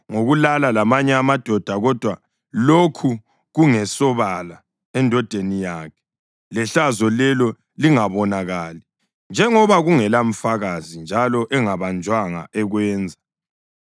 ngokulala lamanye amadoda kodwa lokhu kungesobala endodeni yakhe lehlazo lelo lingabonakali (njengoba kungelamfakazi njalo engabanjwanga ekwenza),